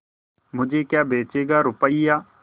मुझे क्या बेचेगा रुपय्या